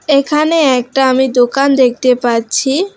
এখানে একটা আমি দোকান দেখতে পাচ্ছি।